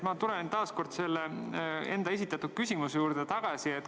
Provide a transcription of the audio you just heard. Ma tulen taas kord selle enda esitatud küsimuse juurde tagasi.